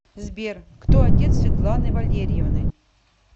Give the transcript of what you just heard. сбер кто отец светланы валерьевны